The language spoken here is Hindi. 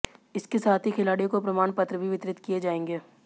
इसके साथ की खिलाडि़यों को प्रमाण पत्र भी वितरित किए जाएंगे